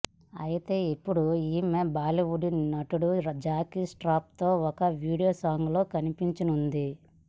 అయితే ఇప్పుడు ఈమె బాలీవుడ్ నటుడు జాకీ ష్రాఫ్ తో ఒక వీడియో సాంగ్ లో కనిపించనుంది